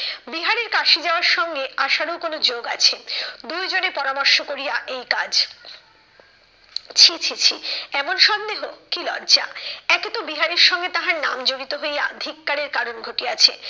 বিহারীর কাশি যাওয়ার সঙ্গে আশারও কোনো যোগ আছে। দুইজনে পরামর্শ করিয়া এই কাজ। ছি ছি ছি এমন সন্দেহ? কি লজ্জা, একে তো বিহারীর সঙ্গে তাহার নাম জড়িত হইয়া ধিক্কারের কারণ ঘটিয়াছে